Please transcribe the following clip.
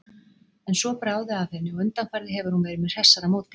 En svo bráði af henni og undanfarið hefur hún verið með hressara móti.